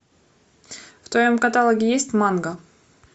в твоем каталоге есть манга